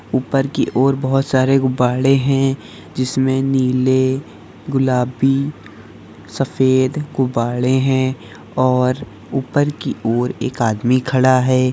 ऊपर की ओर बहुत सारे गुब्बारे हैं जिसमें नीले गुलाबी सफेद गुब्बारे हैं और ऊपर की ओर एक आदमी खड़ा है।